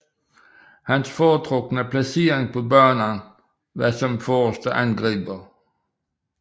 Hans foretrukne placering på banen var som forreste angriber